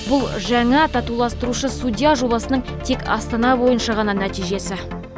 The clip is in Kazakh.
бұл жаңа татуластырушы судья жобасының тек астана бойынша ғана нәтижесі